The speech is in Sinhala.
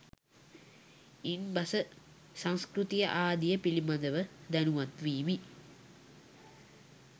ඉන් බස සංස්කෘතිය ආදිය පිළිබඳ ව දැනුවත් විමි